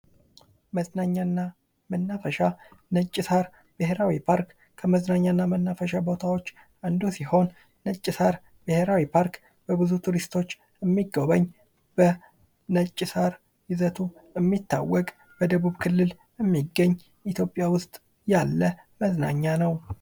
መዝናኛና መናፈሻ ነጭ ሳር ብሄራዊ ፖርክ ከመዝናኛና መናፈሻ ቦታዎች አንዱ ሲሆን ነጭ ሳር ብሄራዊ ፓርክ በብዙ ቱሪስቶች የሚጎበኝ በነጭ ሳር ይዘቱ የሚታወቅ በደቡብ ክልል የሚገኝ ኢትዮጵያ ውስጥ ያለ መዝናኛ ነው።